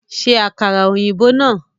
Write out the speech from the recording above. Ṣe àkàrà ọ̀yìnbó náà!